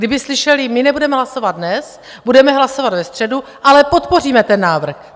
Kdyby slyšeli, my nebudeme hlasovat dnes, budeme hlasovat ve středu, ale podpoříme ten návrh.